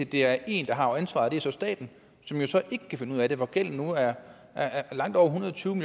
det er en der har ansvaret og det er så staten som jo ikke kan finde ud af det og hvor gælden nu er langt